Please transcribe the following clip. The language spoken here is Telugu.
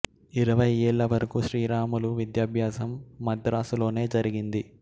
ఇరవై యేళ్ళ వరకు శ్రీరాములు విద్యాభ్యాసం మద్రాసు లోనే జరిగింది